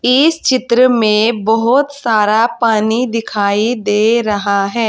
इस चित्र में बहोत सारा पानी दिखाई दे रहा है।